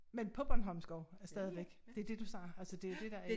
Men på bornholmsk også stadigvæk det dét du snakker altså det dét der er